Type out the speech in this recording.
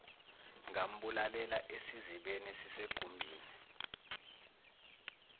ngambulalela esizibeni esisegumbini